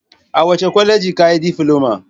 A wace kwaleji ka yi difiloma?